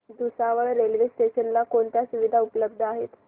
Bhusawal railway station ला कोणत्या सुविधा उपलब्ध आहेत